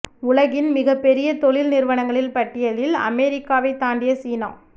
உலகின் மிகப் பெரிய தொழில் நிறுவனங்களின் பட்டியலில் அமெரிக்காவைத் தாண்டிய சீனா